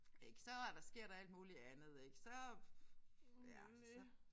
Ik så er der sker der alt muligt andet ik så ja så